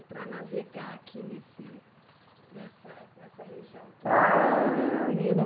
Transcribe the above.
E para navegar aqui nesse nessa nessa região, tem algum segredo?